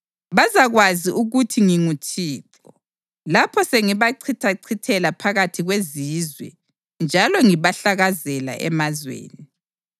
“Bazakwazi ukuthi nginguThixo lapho sengibachithachithela phakathi kwezizwe njalo ngibahlakazela emazweni.